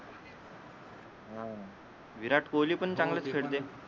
हं विराट कोहली पण चांगलच खेळते